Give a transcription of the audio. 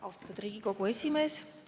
Austatud Riigikogu esimees!